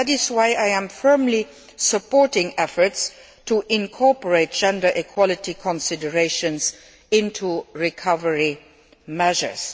That is why I am firmly supporting efforts to incorporate gender equality considerations into recovery measures.